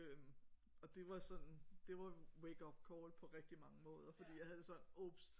Øh og det var sådan det var wakeupcall på rigtig mange måder fordi jeg havde det sådan ups